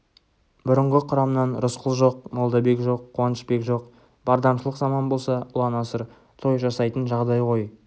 бұрынғы құрамнан рысқұл жоқ молдабек жоқ қуанышбек жоқ бардамшылық заман болса ұлан-асыр той жасайтын жағдай ғой